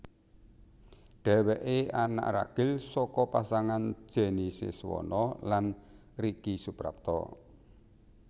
Dhèwèké anak ragil saka pasangan Jenny Siswono lan Ricky Suprapto